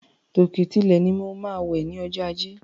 Tòkè tilẹ̀ ni mo máa wè ní ojó ajé.